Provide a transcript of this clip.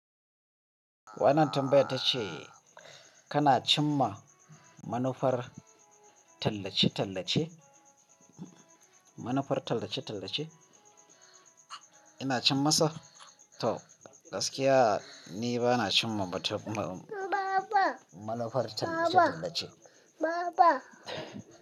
Wannan tambayar ta ce kana cimma manufar tallace-tallace? Manufar tallace-tallace? Ina cimmasa? To gaskiya ni ba na cimma batir ma- Baba Manufar tallace-tallace. Baba.